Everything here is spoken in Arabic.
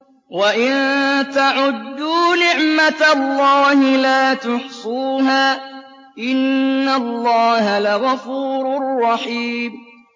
وَإِن تَعُدُّوا نِعْمَةَ اللَّهِ لَا تُحْصُوهَا ۗ إِنَّ اللَّهَ لَغَفُورٌ رَّحِيمٌ